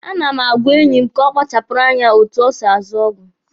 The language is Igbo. A na m agwa enyi m ka ọ kpachara anya n'otu o si azụ ọgwụ.